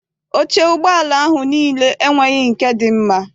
Oche ụgbọala ahụ niile enweghị nke dị mma.